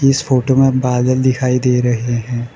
इस फोटो में बादल दिखाई दे रहे हैं।